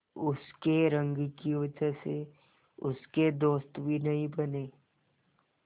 उसकी रंग की वजह से उसके दोस्त भी नहीं बने